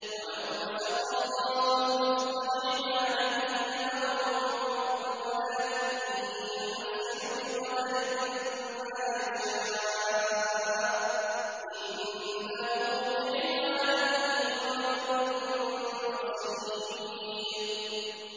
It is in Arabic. ۞ وَلَوْ بَسَطَ اللَّهُ الرِّزْقَ لِعِبَادِهِ لَبَغَوْا فِي الْأَرْضِ وَلَٰكِن يُنَزِّلُ بِقَدَرٍ مَّا يَشَاءُ ۚ إِنَّهُ بِعِبَادِهِ خَبِيرٌ بَصِيرٌ